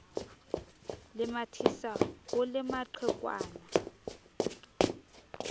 le mathisa ho le maqhekwana